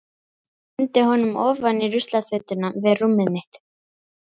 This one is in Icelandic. Hendi honum ofan í ruslafötuna við rúmið mitt.